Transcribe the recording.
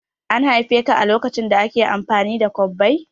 An haife ka lokacin da ake amfani da kwabbai?